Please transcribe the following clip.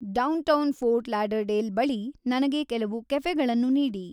downtown Fort Lauderdale ಬಳಿ ನನಗೆ ಕೆಲವು ಕೆಫೆಗಳನ್ನು ನೀಡಿ